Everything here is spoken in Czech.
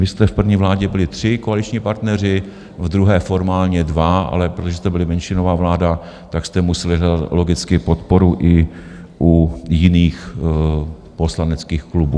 Vy jste v první vládě byli tři koaliční partneři, v druhé formálně dva, ale protože jste byli menšinová vláda, tak jste museli hledat logicky podporu i u jiných poslaneckých klubů.